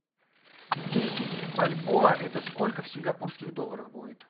десять бальбоа это сколько в сингапурских долларах будет